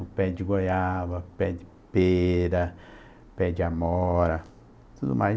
O pé de goiaba, o pé de pera, o pé de amora, tudo mais.